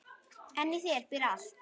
En í þér býr allt.